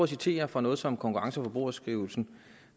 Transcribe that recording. citere fra noget som konkurrence og forbrugerstyrelsen